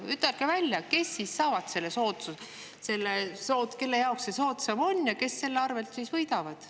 Ütelge välja, kelle jaoks see soodsam on ja kes selle arvelt siis võidavad.